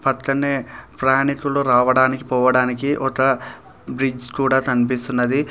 పక్కనే ప్రయాణికులు రావడానికి పోవడానికి ఒక బ్రిడ్జ్ కూడా కనిపిస్తున్నది.